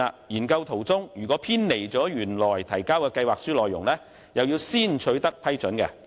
研究中途若偏離原先提交的計劃書內容，必須先取得批准。